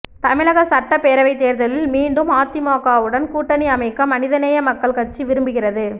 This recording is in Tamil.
தமிழக சட்டப்பேரவைத் தேர்தலில் மீண்டும் அதிமுகவுடன் கூட்டணி அமைக்க மனிதநேய மக்கள் கட்சி விரும்புகிறது